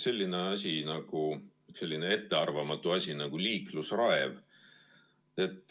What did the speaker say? On olemas selline ettearvamatu asi nagu liiklusraev.